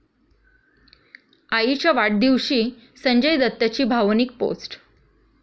आईच्या वाढदिवशी संजय दत्तची भावनिक पोस्ट